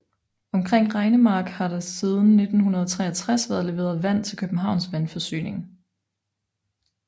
Omkring Regnemark har der siden 1963 været leveret vand til Københavns Vandforsyning